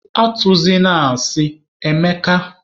Atụzịna asị, Emeka!